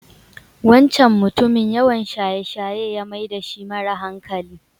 Wancan mutumin yawan shaye-shaye ya mai dashi mara hankali.